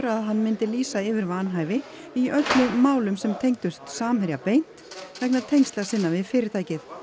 að hann myndi lýsa yfir vanhæfi í öllum málum sem tengdust Samherja beint vegna tengsla sinna við fyrirtækið